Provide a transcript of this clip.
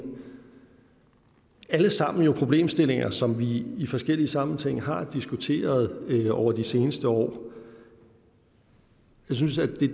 det er alle sammen problemstillinger som vi i forskellig sammenhæng har diskuteret over de seneste år jeg synes at det